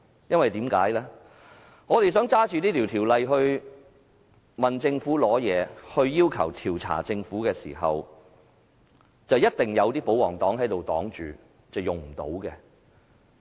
當我們想引用這條例質問政府，並要求調查政府時，一定會有保皇黨議員阻擋，令我們無計可施。